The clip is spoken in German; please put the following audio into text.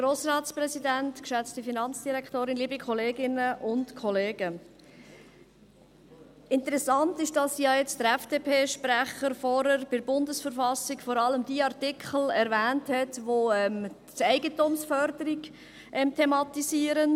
Interessant ist, dass ja der FDP-Sprecher vorher bei der BV vor allem diejenigen Artikel erwähnt hat, welche die Eigentumsförderung thematisieren.